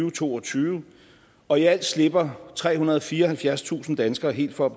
og to og tyve og i alt slipper trehundrede og fireoghalvfjerdstusind danskere helt for